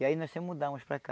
E aí nós se mudamos para cá.